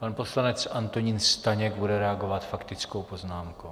Pan poslanec Antonín Staněk bude reagovat faktickou poznámkou.